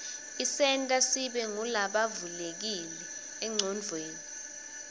isenta sibe ngulabavulekile enqcondvweni